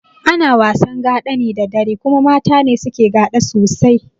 Ana wasan gaɗa ne da dare kuma mata ne suke gaɗa sosai